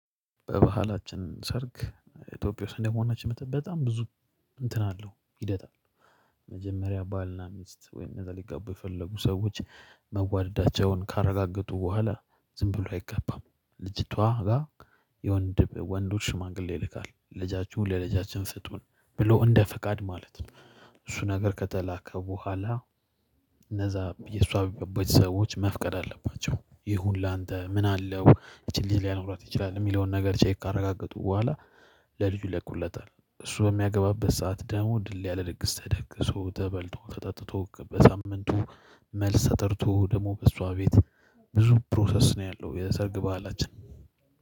በባህላችን ሰርግ ኢትዮጵያ ውስጥ እንደመሆናችን በጣም ብዙ እንትን አለው ሂደት አለው። መጀመሪያ ባልና ሚስት ወይም እነዛ ሊጋቡ የፈለጉ ሰዎች መዋደዳቸውን ካረጋገጡ በኋላ ዝም ብሎ አይገባም ልጅቷ ጋር የወንድ ወንዱ ሽማግሌ ይልካል ለጃችሁ ለለጃችን ስጡን ብሎ እንደ ፈቃድ ማለት ነው። እሱ ነገር ከተላከ በኋላ እነዛ የሷ በቤተሰባች ሰዎች መፍቀድ አለባቸው ይሁን ላንተ ምን አለው ይቺን ልጅ ሊያኖራት ይችላል የሚለውን ነገር ቼክ ካረጋገጡ በኋላ። ለልጁ ይለቁለታል እሱ በሚያገባበት ሰዓት ደግሞ ድል ያለ ድግስ ተደግሶ ተበልቶ ተጠጥቶ በሳምንቱ። መልስ ተጠርቶ ደግሞ በእሷ ቤት ብዙ ፕሮሰስ ነው ያለው። የሰርግ በዓላችን